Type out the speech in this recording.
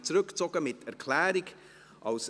Diese werden nämlich mit Erklärung zurückgezogen.